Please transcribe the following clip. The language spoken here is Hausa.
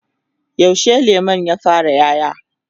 yaushe lemun ya fara ƴaƴa?